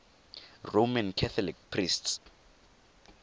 roman catholic priests